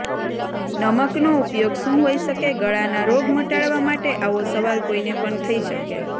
નમકનો ઉપયોગ શું હોય શકે ગળાના રોગ મટાડવા માટે આવો સવાલ કોઈને પણ થઈ શકે